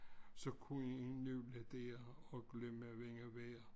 Så kunne en nøle der og glemme vind og vejr